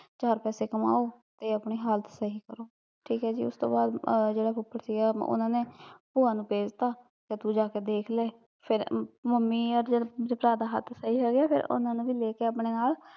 ਚਾਰ ਪੈਸੇ ਕਮਾਓ, ਤੇ ਆਪਣੀ ਹਾਲਤ ਸਹੀ ਕਰੋ ਠੀਕ ਐ ਜੀ ਉਸਤੋਂ ਬਾਦ ਜਿਹੜਾ ਫੁੱਫੜ ਸੀਗਾ ਉਹਨਾਂ ਨੇ ਭੂਆ ਨੂੰ ਭੇਜਤਾ, ਕੀ ਤੂੰ ਜਾਕੇ ਦੇਖਲੇ ਫਿਰ, ਮੰਮੀ ਓਰ ਜਦ ਮੇਰੇ ਭਰਾ ਦਾ ਹੱਥ ਸਹੀ ਹੋਗਿਆ ਤੇ ਉਹਨਾਂ ਨੂੰ ਲੈਕੇ ਨਾਲ਼